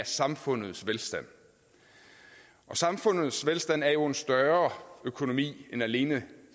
samfundets velstand samfundets velstand er jo en større økonomi end alene